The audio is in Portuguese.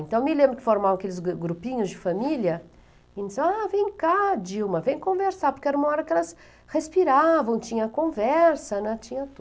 Então, eu me lembro que formavam aqueles grupinhos de família, e diziam, ah, vem cá, Dilma, vem conversar, porque era uma hora que elas respiravam, tinha conversa, né, tinha